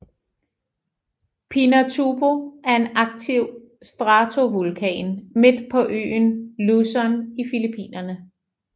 Pinatubo er en aktiv stratovulkan midt på øen Luzon i Filippinerne